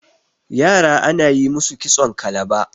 yara ana yi musu kitson kalaba